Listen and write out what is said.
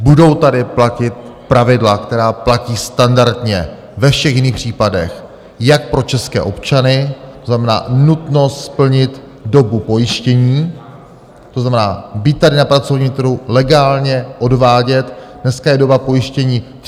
Budou tady platit pravidla, která platí standardně ve všech jiných případech, jak pro české občany, to znamená nutnost splnit dobu pojištění, to znamená být tady na pracovním trhu, legálně odvádět, dneska je doba pojištění 35 let.